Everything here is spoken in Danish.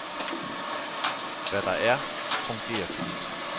Hvad der er, fungerer fint.